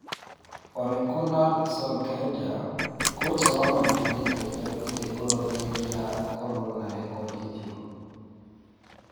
Ole kunnar Solskjaer: Koca wa Man united ndakuĩte ngoro thengia wa gũkorwo na rekondi njũru